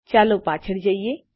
ચાલો પાછળ જઈએ